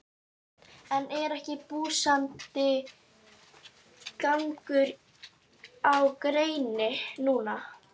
Þorbjörn: En er ekki blússandi gangur á greininni núna?